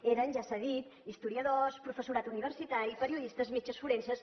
eren ja s’ha dit historiadors professorat universitari periodistes metges forenses